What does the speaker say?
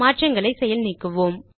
மாற்றங்களை செயல் நீக்குவோம்